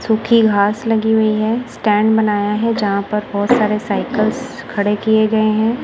सूखी घास लगी हुई है स्टैंड बनाया है जहां पर बहोत सारे साइकिल्स खड़े किए गए हैं।